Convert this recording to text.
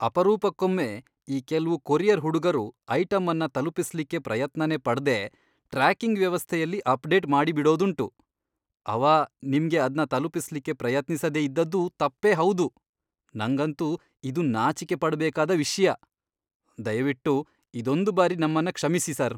ಅಪರೂಪಕ್ಕೊಮ್ಮೆ ಈ ಕೆಲ್ವು ಕೊರಿಯರ್ ಹುಡುಗರು ಐಟಮ್ಮನ್ನ ತಲುಪಿಸ್ಲಿಕ್ಕೆ ಪ್ರಯತ್ನನೇ ಪಡ್ದೇ ಟ್ರ್ಯಾಕಿಂಗ್ ವ್ಯವಸ್ಥೆಯಲ್ಲಿ ಅಪ್ಡೇಟ್ ಮಾಡಿಬಿಡೋದುಂಟು. ಅವ ನಿಮ್ಗೆ ಅದ್ನ ತಲುಪಿಸ್ಲಿಕ್ಕೆ ಪ್ರಯತ್ನಿಸದೇ ಇದ್ದದ್ದು ತಪ್ಪೇ ಹೌದು, ನಂಗಂತೂ ಇದು ನಾಚಿಕೆಪಡ್ಬೇಕಾದ ವಿಷ್ಯ, ದಯವಿಟ್ಟು ಇದೊಂದು ಬಾರಿ ನಮ್ಮನ್ನ ಕ್ಷಮಿಸಿ, ಸರ್.